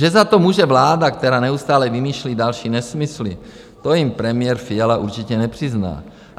Že za to může vláda, která neustále vymýšlí další nesmysly, to jim premiér Fiala určitě nepřizná.